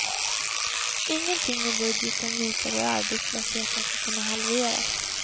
Ingenting i budgeten visar hur arbetslösheten ska kunna halveras.